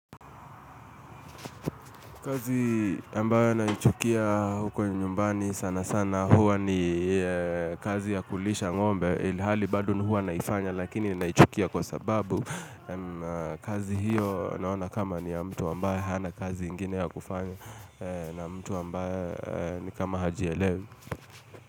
Kazi ambayo naichukia huko nyumbani sana sana huwa ni kazi ya kulisha ng'ombe ilhali bado huwa naifanya lakini naichukia kwa sababu kazi hiyo naona kama ni ya mtu ambaye hana kazi ingine ya kufanya na mtu ambaye ni kama hajielewi.